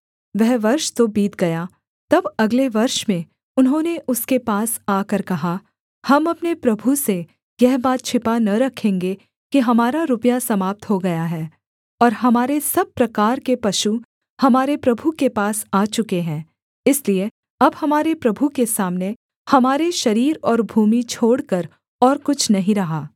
वह वर्ष तो बीत गया तब अगले वर्ष में उन्होंने उसके पास आकर कहा हम अपने प्रभु से यह बात छिपा न रखेंगे कि हमारा रुपया समाप्त हो गया है और हमारे सब प्रकार के पशु हमारे प्रभु के पास आ चुके हैं इसलिए अब हमारे प्रभु के सामने हमारे शरीर और भूमि छोड़कर और कुछ नहीं रहा